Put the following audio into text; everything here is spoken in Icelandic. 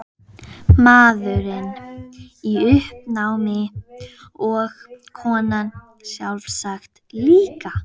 Maðurinn í uppnámi og konan sjálfsagt líka.